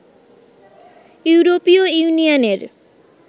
ইউরোপীয় ইউনিয়নের